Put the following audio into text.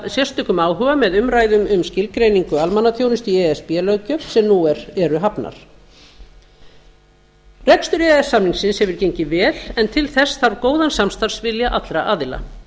sérstökum áhuga með umræðum um skilgreiningu almannaþjónustu í e s b löggjöf sem nú eru hafnar rekstur e e s samningsins hefur gengið vel en til þess þarf góðan samstarfsvilja allra aðila